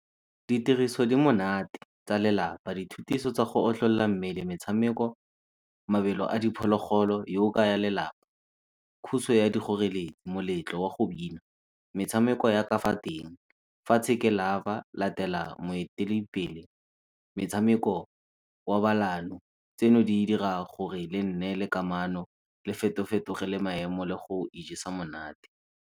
Ditiriso di monate tsa lelapa, dithutiso tsa go tlolola mmele, metshameko, mabelo a diphologolo lelapa. dikgoreletsi, moletlo wa go bina, metshameko ya ka fa teng. latela moeteledipele, metshameko wa tseno di dira gore le nneele kamano le feto-fetoge le maemo le go ijesa monate.